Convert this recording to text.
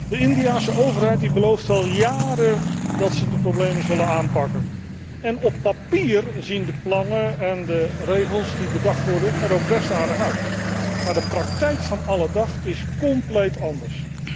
De Indiase overheid belooft al jaren dat zij de problemen zal aanpakken en op papier zien de plannen en de regels die bedacht worden er ook best aardig uit, maar de praktijk van alledag is compleet anders.